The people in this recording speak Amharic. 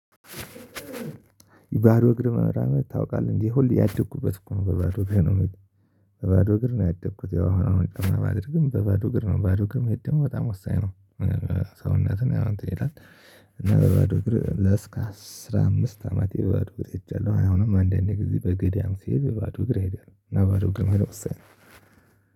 ባዶ እግር መራመድ ታውቃለህ እንዴ? ሁሌ ያደኩበት እኮ ነው በባዶ እግር ነው ያደኩት ያው አሁን በባዶ እግር ነው በባዶ እግር ነው በባዶ እግር መሄድም በጣም ወሳኝ ነው። ሰውነትን ያው እንትን ይላል እና በባዶ እግር እስከ አስራ አምስት አመት የባዶ እግር ሄጃለሁ። አሁንም አንድ አንድ ጊዜ በገዳም ሲሄድ በባዶ እግር እሄዳለው እና ባዶ እግር መሄድ ወሳኝ ነው።